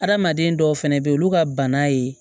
Adamaden dɔw fɛnɛ be ye olu ka bana ye